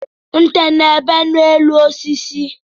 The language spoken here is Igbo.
Nte na-ebe osisi